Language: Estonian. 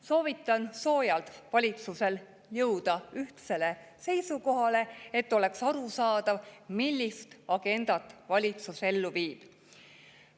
Soovitan soojalt valitsusel jõuda ühtsele seisukohale, et oleks arusaadav, millist agendat valitsus ellu viib.